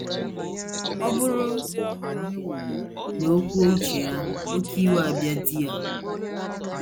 Ọ bụrụ na o kwuo uche ya, oké iwe abịa di ya.